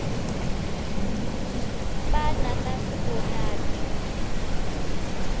ba nanas bonanno